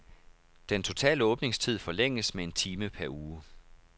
Den totale åbningstid forlænges med en time per uge.